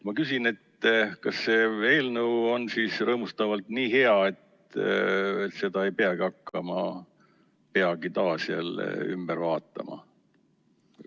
Ma küsin, et kas see eelnõu on siis nii rõõmustavalt hea, et seda ei peagi hakkama peagi taas jälle ümber vaatama.